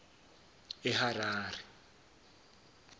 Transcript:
eharare